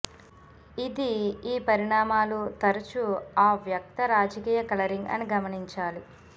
ఇది ఈ పరిణామాలు తరచూ అవ్యక్త రాజకీయ కలరింగ్ అని గమనించాలి